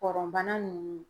Pɔrɔnbana ninnu.